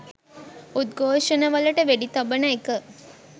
උද්ඝෝෂණවලට වෙඩි තබන එක